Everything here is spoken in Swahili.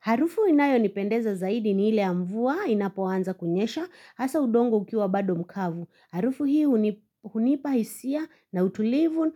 Harufu inayonipendeza zaidi ni ile ya mvua inapoanza kunyesha hasa udongo ukiwa bado mkavu. Harufu hii hunipahisia na utulivu